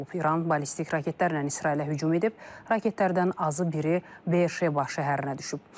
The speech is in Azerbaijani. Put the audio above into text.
İran ballistik raketlərlə İsrailə hücum edib, raketlərdən azı biri Be'er Sheva şəhərinə düşüb.